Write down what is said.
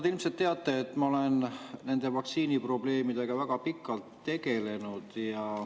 Te ilmselt teate, et ma olen nende vaktsiiniprobleemidega väga pikalt tegelenud.